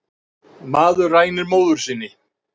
Maður rænir móður sinni